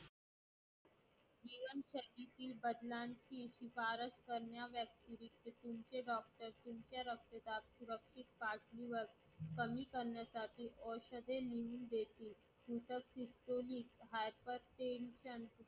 कारण कि ते बरे करू शकत नाही उच्च रक्तदाबासाठी तुम्हाला बचाव क्षेत्र सुरु केले.